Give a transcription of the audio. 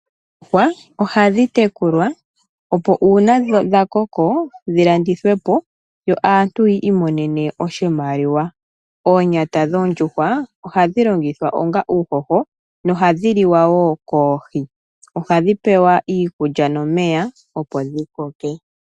Oondjuwa oha dhi tekulwa, opo uuna dhakoko, dhivulwe oku landithwa opo aantu yi imonene oshimaliwa. Oonyata dhoondjuhwa oha dhi longithwa onga uuhoho noha dhiliwa wo koohi. Oha dhipewa iikulya nomeya opo dhikokeke.